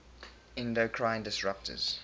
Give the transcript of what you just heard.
endocrine disruptors